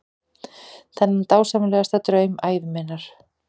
Þennan dásamlegasta draum ævi minnar.